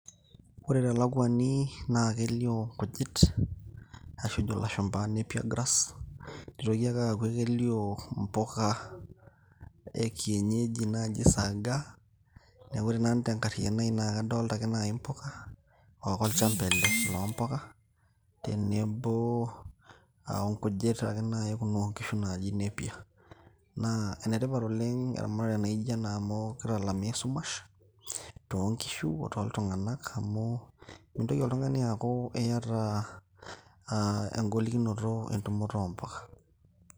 ore telakuani naa kelio inkujit ashu ejo ilashumpa napier grass nitoki ake aaku ekelio impuka e kienyeji naji sagaa neku ore nanu tenkariano ai naa kadolta ake naji impuka okolchamba ele loompuka tenebo onkujit ake naji kumok onkishu naaji napier naa enetipat oleng' eramatare naijo ena amu kitalamaa esumash toonkishu o too ltung'anak amu mintoki oltung'ani aaku iyata uh, engolikinoto entumoto ompuka.